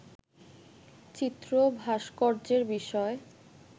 চিত্র-ভাস্কর্যের বিষয়